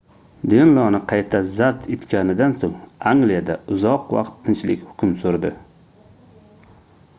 denloni qayta zabt etganidan soʻng angliyada uzoq vaqt tinchlik hukm surdi